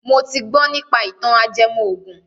Mo ti gbọ nípa ìtàn ajẹmọ ògùn